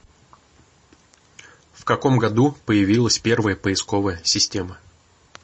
в каком году появилась первая поисковая система